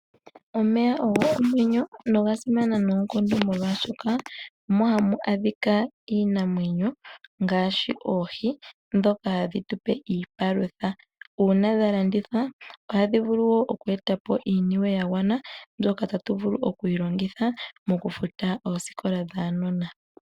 Omeya ogo omwenyo nogasimana nookondo molwashoka omo hamu adhika iinamwenyo ngaashi oohi ndhoka hadhi tu pe iipalutha . Uuna dha landithwa, ohadhi vulu okweeta po iiniwe ya gwana mpoka tatu vulu okuyi longitha mokufuta ooskola dhaanona.